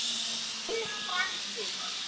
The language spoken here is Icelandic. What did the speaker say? Mín framtíð?